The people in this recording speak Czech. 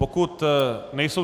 Pokud nejsou...